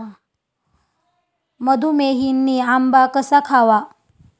मधूमेहींनी आंबा कसा खावा?